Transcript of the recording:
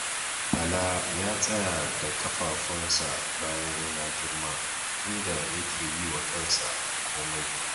Bala ya tsaya da ƙafafunsa bayan ya girma, inda yake yi wa kansa komai.